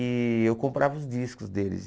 E eu comprava os discos deles.